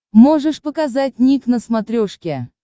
можешь показать ник на смотрешке